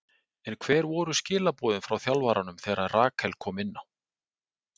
En hver voru skilaboðin frá þjálfaranum þegar Rakel kom inná?